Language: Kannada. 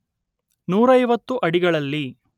ನೂರೈವತ್ತು ಅಡಿಗಳಲ್ಲಿ